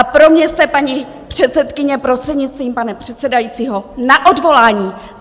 A pro mě jste, paní předsedkyně, prostřednictvím pana předsedajícího, na odvolání!